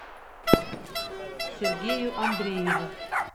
сергею андрееву